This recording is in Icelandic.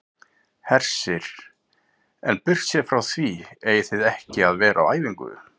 Hersir: En burtséð frá því eigið þið ekki að vera á æfingu?